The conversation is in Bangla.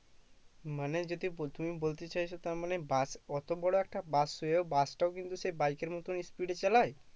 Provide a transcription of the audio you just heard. মানে যদি তুমি বলতে চাইছো তার মানে bus অতো বড়ো একটা bus হয়েও bus টাও কিন্তু সেই bike এর মতোই speed এ চালায়